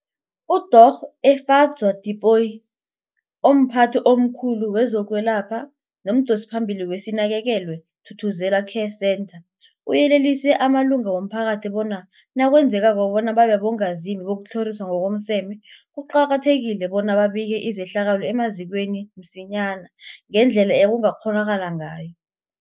UDorh Efadzwa Tipoy, omphathi omkhulu kezokwelapha nomdosiphambili weSinakekelwe Thuthuzela Care Centre, uyelelise amalunga womphakathi bona nakwenzekako bona babe bongazimbi bokutlhoriswa ngokomseme, kuqakathekile bona babike izehlakalo emazikweni msinyana ngendlela ekungakghonakala ngayo.